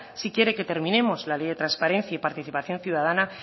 si quiere que terminemos la ley de transparencia y participación ciudadana